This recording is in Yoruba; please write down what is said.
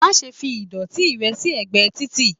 má ṣe fí ìdòtí rẹ sí ẹgbẹ Tìtì